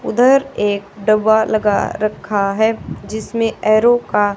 उधर एक डब्बा लगा रखा है जिसमें एरो का--